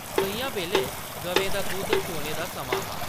सʼञां बेल्लै गवें दा दुद्ध चोने दा समां हा।